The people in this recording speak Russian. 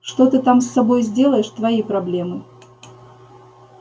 что ты там с собой сделаешь твои проблемы